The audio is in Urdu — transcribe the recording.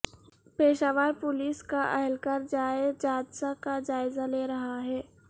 پشاور پولیس کا اہلکار جائے جادثہ کا جائزہ لے رہا ہے